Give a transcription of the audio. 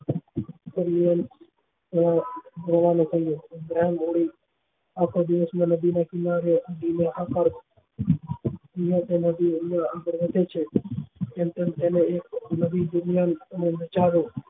તેમને આખો દિવસ માં નદી નાં કિનારે બીયાતા નથી ને આગળ વધે છે તેમ તેમ એ નદી ઊંચાઈ એ